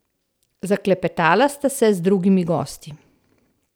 Zaklepetala sta se z drugimi gosti.